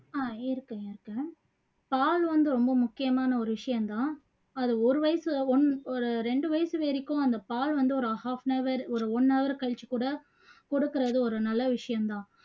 ஆஹ் இருக்கேன் இருக்கேன் பால் வந்து ரொம்ப முக்கியமான ஒரு விஷயம் தான் அது ஒரு வயசு ஒன் ஒரு ரெண்டு வயசு வரைக்கும் அந்த பால் வந்து ஒரு half an hour ஒரு one hour கழிச்சுக்கூட கொடுக்குறது ஒரு நல்ல விஷயம் தான்